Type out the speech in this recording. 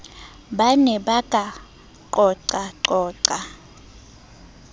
ba ne ba ka qoqaqoqa